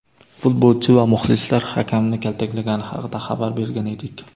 futbolchi va muxlislar hakamni kaltaklagani haqida xabar bergan edik.